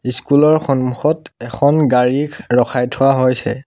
School ৰ সন্মুখত এখন গাড়ীখ ৰখাই থোৱা হৈছে।